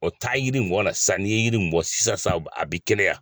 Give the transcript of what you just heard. O taga yiri in bɔ ka na sisan n'i ye yiri in bɔ sisan sisan a bɛ kɛnɛya.